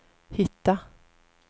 hitta